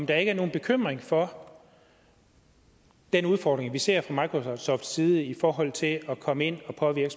der ikke nogen bekymring for den udfordring vi ser fra microsofts side i forhold til at komme ind og påvirke